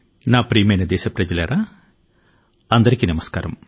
నా ప్రియమైన దేశవాసులారా నమస్కారం